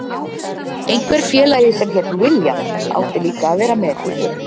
Einhver félagi sem hét William átti líka að vera með í för.